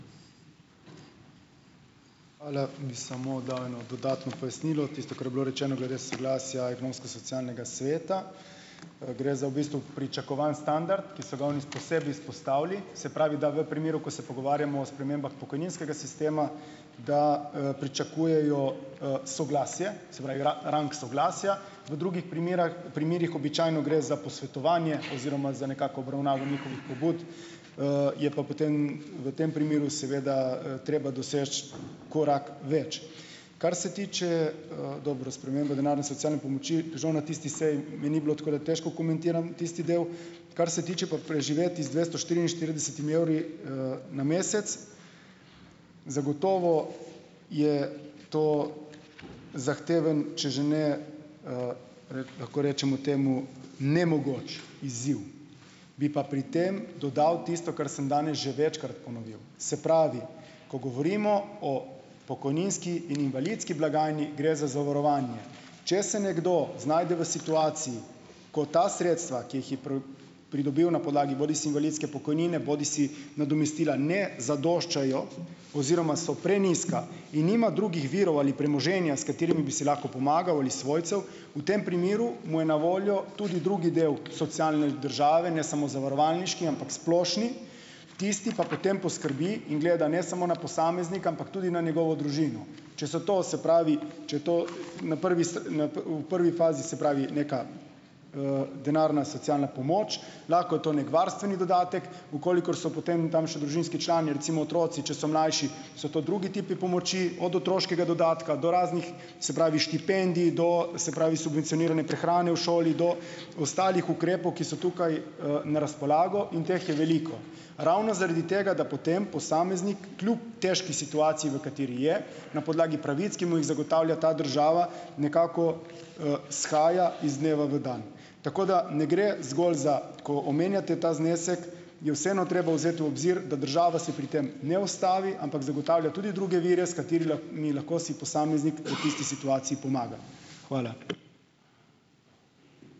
Hvala. Bi samo dal eno dodatno pojasnilo. Tisto, kar je bilo rečeno glede soglasja ekonomsko-socialnega sveta, gre za v bistvu pričakovan standard, ki so ga oni posebej izpostavili, se pravi, da v primeru, ko se pogovarjamo o spremembah pokojninskega sistema, da, pričakujejo, soglasje, se pravi, rang soglasja, v drugih primerah primerih običajno gre za posvetovanje oziroma za nekako obravnavo njihovih pobud, je pa potem v tem primeru seveda, treba doseči korak več. Kar se tiče, dobro, sprememba denarne socialne pomoči, žal na tisti seji me ni bilo, tako da težko komentiram tisti del. Kar se tiče pa preživeti z dvesto štiriinštiridesetimi evri, na mesec, zagotovo je to zahteven, če že ne, lahko rečemo temu nemogoč izziv. Bi pa pri tem dodal tisto, kar sem danes že večkrat ponovil, se pravi, ko govorimo o pokojninski in invalidski blagajni, gre za zavarovanje. Če se nekdo znajde v situaciji, ko ta sredstva, ki jih je pridobil na podlagi bodisi invalidske pokojnine bodisi nadomestila, ne zadoščajo oziroma so prenizka in nima drugih virov ali premoženja, s katerimi bi si lahko pomagal, ali svojcev, v tem primeru mu je na voljo tudi drugi del socialne države, ne samo zavarovalniški, ampak splošni, tisti pa potem poskrbi in gleda ne samo na posameznika, ampak tudi na njegovo družino. Če so to, se pravi, če je to na prvi na u prvi fazi se pravi neka, denarna socialna pomoč, lahko je to neki varstveni dodatek, v kolikor so potem tam še družinski člani, recimo otroci, če so mlajši, so to drugi tipi pomoči od otroškega dodatka do raznih, se pravi, štipendij do, se pravi, subvencionirane prehrane v šoli do ostalih ukrepov, ki so tukaj, na razpolago in teh je veliko. Ravno zaradi tega, da potem posameznik kljub težki situaciji, v kateri je, na podlagi pravic, ki mu jih zagotavlja ta država, nekako, shaja iz dneva v dan. Tako da ne gre zgolj za, ko omenjate ta znesek, je vseeno treba vzeti v obzir, da država se pri tem ne ustavi, ampak zagotavlja tudi druge vire, s lahko si posameznik po tisti situaciji pomaga. Hvala.